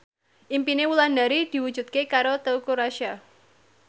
impine Wulandari diwujudke karo Teuku Rassya